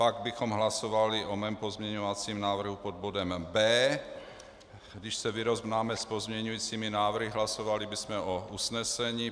Pak bychom hlasovali o mém pozměňovacím návrhu pod bodem B. Když se vyrovnáme s pozměňujícími návrhy, hlasovali bychom o usnesení.